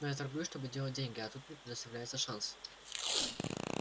но я торгую чтобы делать деньги а тут мне предоставляется шанс